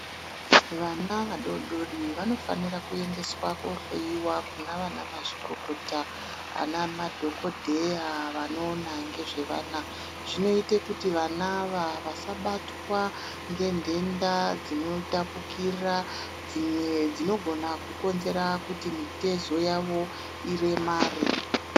Vana vadodori vanofanirwa kuendeswa kohloyiwa nganamazvikokota, anamadhogodheya anoona nezvevana. Zvinoita kuti vana ava vasabatwa ngenhenda dzinotapukira dzimwe dzinogona kukonzera kuti mitezo yavo iremare.